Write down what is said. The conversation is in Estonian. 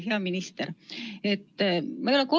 Hea minister!